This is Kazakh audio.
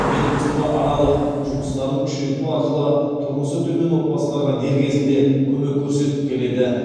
ведомствоаралық жұмыстарын күшейту арқылы тұрмысы төмен отбасыларға дер кезінде көмек көрсетіп келеді